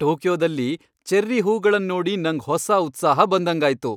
ಟೋಕಿಯೊದಲ್ಲಿ cherry ಹೂಗಳನ್ ನೋಡಿ ನಂಗ್ ಹೊಸ ಉತ್ಸಾಹ ಬಂದಂಗಾಯ್ತು.